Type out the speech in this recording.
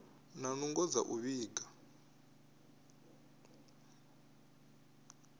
na nungo dza u vhiga